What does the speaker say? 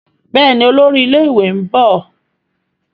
Béèni Olórí ilé ìwé nbọ.